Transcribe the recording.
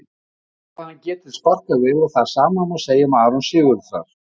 Við vitum hvað hann getur sparkað vel og það sama má segja um Aron Sigurðar.